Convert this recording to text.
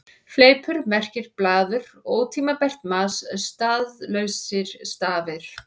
Fleipur merkir blaður, ótímabært mas, staðlausir stafir.